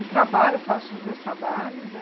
E trabalho, faço os meus trabalhos, né?